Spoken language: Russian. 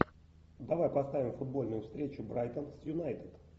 давай поставим футбольную встречу брайтон с юнайтед